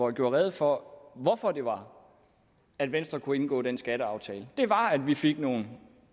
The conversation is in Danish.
gøre rede for hvorfor det var at venstre kunne indgå den skatteaftale det var at vi fik nogle